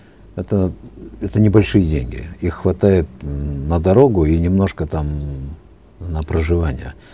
это это небольшие деньги их хватает ммм на дорогу и немножко там на проживание